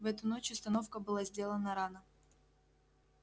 в эту ночь остановка была сделана рано